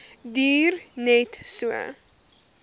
duur net so